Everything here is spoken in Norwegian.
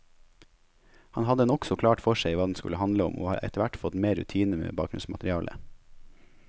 Han hadde nokså klart for seg hva den skulle handle om, og har etterhvert fått mer rutine med bakgrunnsmaterialet.